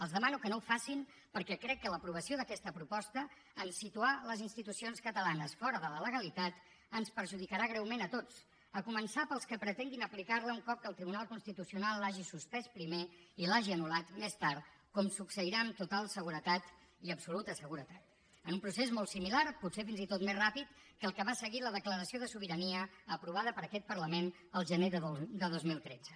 els demano que no ho facin perquè crec que l’aprovació d’aquesta proposta en situar les institucions catalanes fora de la legalitat ens perjudicarà greument a tots a començar pels que pretenguin aplicar la un cop que el tribunal constitucional l’hagi suspès primer i l’hagi anul·lat més tard com succeirà amb total seguretat i absoluta seguretat en un procés molt similar potser fins i tot més ràpid que el que va seguir la declaració de sobirania aprovada per aquest parlament el gener de dos mil tretze